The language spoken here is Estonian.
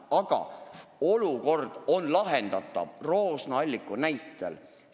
Aga Roosna-Alliku näide näitab, et olukord on lahendatav.